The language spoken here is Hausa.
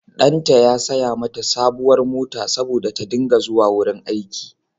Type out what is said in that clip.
Ɗanta ya saya mata sabuwar mota saboda ta dinga zuwa wurin aiki.